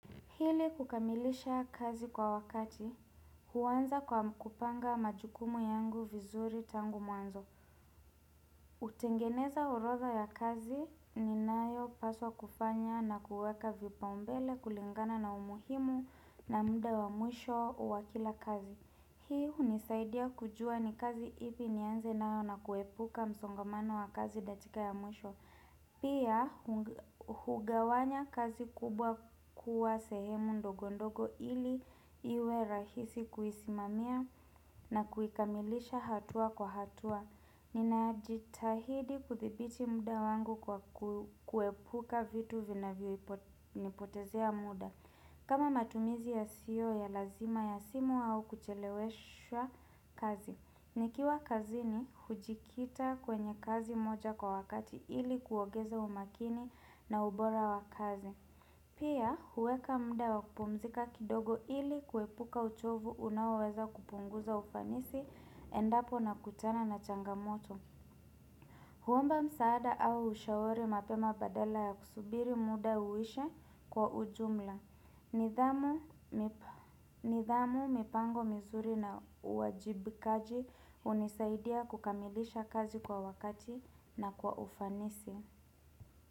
Hili kukamilisha kazi kwa wakati, huwanza kwa kupanga majukumu yangu vizuri tangu mwanzo. Kutengeneza urodha ya kazi ninayopaswa kufanya na kuweka vipaumbele kulingana na umuhimu na muda wa mwisho uwakila kazi. Hii unisaidia kujua ni kazi ipi nianze nayo na kuepuka msongamano wa kazi datika ya mwisho. Pia, hu hugawanya kazi kubwa kuwa sehemu ndogondogo ili iwe rahisi kuisimamia na kuikamilisha hatua kwa hatua Ninajitahidi kudhibiti muda wangu kwa kuepuka vitu vinavyoipo nipotezea muda kama matumizi ya CEO ya lazima ya simu au kucheleweshwa kazi nikiwa kazini hujikita kwenye kazi moja kwa wakati ili kuogeza umakini na ubora wa kazi. Pia huweka muda wa kupumzika kidogo ili kuepuka uchovu unaoweza kupunguza ufanisi endapo nakutana na changamoto. Huomba msaada au ushauri mapema badala ya kusubiri muda uwishe kwa ujumla. Nidhamu mipango mizuri na uajibikaji unisaidia kukamilisha kazi kwa wakati na kwa ufanisi.